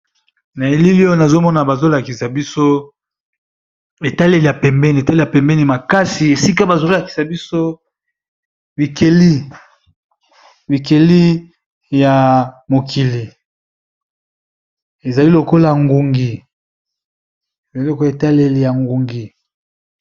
Na elili oyo nazomona bazolakisa biso etale ya pembeni makasi esika bazolakisa biso bikeli ya mokili ezali lokola gugieloko etaleli ya ngungi.